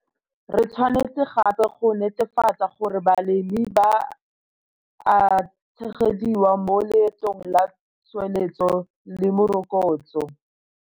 Re tshwanetse gape go netefatsa gore balemi ba a tshegediwa mo leetong la tsweletso le morokotso.